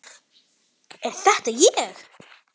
Er þetta ég!?